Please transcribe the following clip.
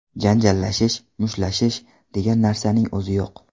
Janjallashish, mushtlashish degan narsaning o‘zi yo‘q.